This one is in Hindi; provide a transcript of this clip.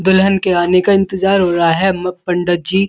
दुल्हन के आने का इंतज़ार हो रहा है म पंडत जी --